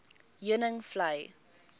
heuningvlei